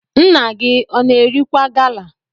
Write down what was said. Nna gi na-erikwa gala?